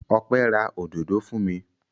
Ọpẹ́ ra òdòdó fún mi.